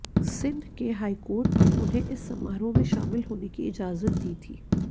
सिंध के हाईकोर्ट ने उन्हें इस समारोह में शामिल होने की इजाजत दी थी